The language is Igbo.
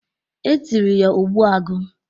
E tiri ya "Ogbu agu."